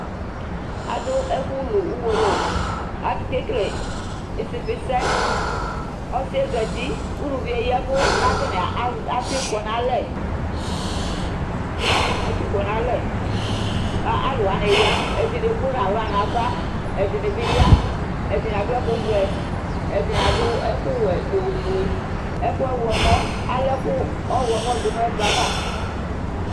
Adʋ ɛfʋlu uwolowu Akekele ɩsɩfɩsɛ Ɔsɩbyɛ zati, uluvi yɛ ya ɛvʋ kʋ atanɩ az atʋ ɩfɔ nʋ alɛ Atʋ ɩfɔ nʋ alɛ kʋ alʋ wanɩ ya Ɛdɩnɩ emu nʋ aɣla nʋ ava Ɛdɩnɩ bɩ ya, ɛdɩnɩ adʋ ɛkʋvɛ, ɛdɩnɩ adʋ ɛkʋwɛ nʋ ofue Ɛkʋ ɔɣlɔmɔ, ala ɛkʋ ɔɣlɔmɔ dʋ nʋ ɛkplɔ yɛ ava